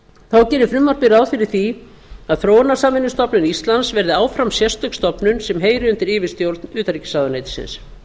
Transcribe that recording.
þá gerir frumvarpið ráð fyrir því að þróunarsamvinnustofnun íslands verði áfram sérstök stofnun sem heyri undir yfirstjórn utanríkisráðuneytisins